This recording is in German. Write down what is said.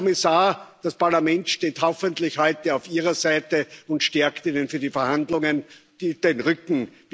Herr Kommissar, das Parlament steht hoffentlich heute auf Ihrer Seite und stärkt Ihnen für die Verhandlungen den Rücken.